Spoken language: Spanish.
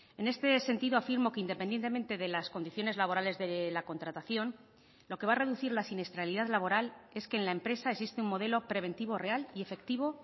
en este sentido afirmo que independientemente de las condiciones laborales de la contratación lo que va a reducir la siniestralidad laboral es que en la empresa existe un modelo preventivo real y efectivo